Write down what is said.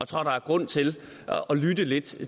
tror der er grund til at lytte lidt